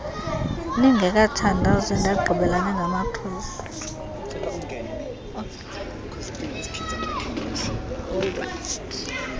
ningekathandazi ndagqibela ningamakrestu